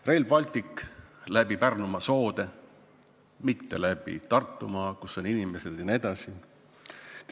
Rail Baltic läbi Pärnumaa soode, mitte läbi Tartumaa, kus on inimesed, jne.